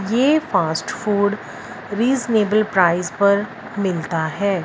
ये fast food reasonable price पर मिलता है।